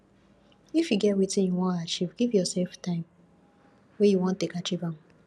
if you get wetin you wan achieve give yourself time wey you wan take achieve am